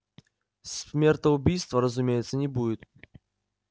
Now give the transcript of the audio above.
смертоубийства разумеется не будет